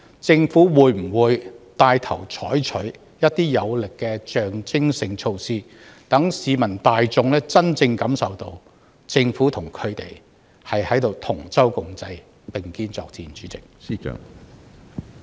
政府會否牽頭採取一些有力的象徵性措施，讓市民大眾真正感受到政府與他們同舟共濟，並肩作戰？